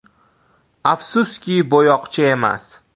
- Afsuski, bo‘yoqchi emas.